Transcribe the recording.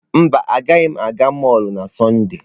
Mba, agaghị m aga mọlụ na Sọnde.